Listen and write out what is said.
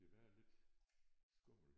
Det være lidt skummelt